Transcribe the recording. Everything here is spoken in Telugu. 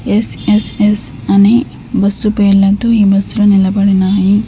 ఎస్_ఎస్_ఎస్ అని బస్సు పేర్లతో ఈ బస్సు లు నిలబడి ఉన్నాయి.